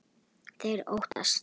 Þeir óttast.